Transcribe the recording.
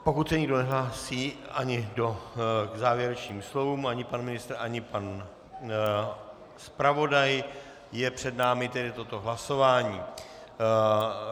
Pokud se nikdo nehlásí ani k závěrečným slovům, ani pan ministr, ani pan zpravodaj, je před námi tedy toto hlasování.